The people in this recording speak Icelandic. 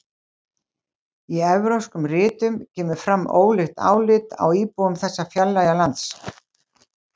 Í evrópskum ritum kemur fram ólíkt álit á íbúum þessa fjarlæga lands.